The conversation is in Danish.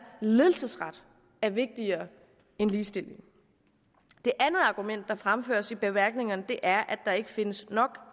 ledelsesret er vigtigere end ligestilling det andet argument der fremføres i bemærkningerne er at der ikke findes nok